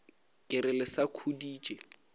ke re le sa khuditše